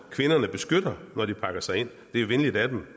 kvinderne beskytter når de pakker sig ind det er venligt af dem